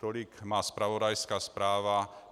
Tolik má zpravodajská zpráva.